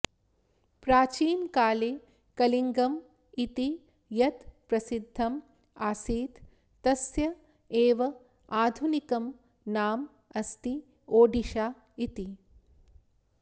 प्राचीनकाले कलिङ्गम् इति यत् प्रसिद्धम् आसीत् तस्य एव आधुनिकं नाम अस्ति ओड़िशा इति